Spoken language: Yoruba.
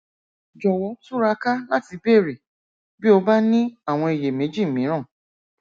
jọwọ túraká láti béèrè bí o bá ní àwọn iyèméjì mìíràn